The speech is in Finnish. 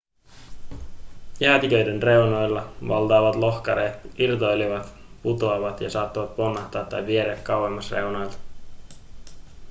jäätiköiden reunoilla valtavat lohkareet irtoilevat putoavat ja saattavat ponnahtaa tai vieriä kauemmas reunoilta